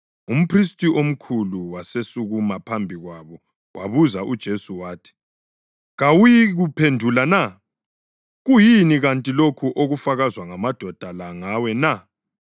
Umphristi omkhulu wasesukuma phambi kwabo wabuza uJesu wathi, “Kawuyikuphendula na? Kuyini kanti lokhu okufakazwa ngamadoda la ngawe na?”